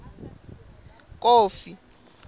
kofi